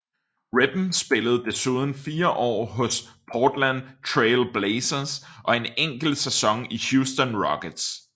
Pippen spillede desuden fire år hos Portland Trail Blazers og en enkelt sæson i Houston Rockets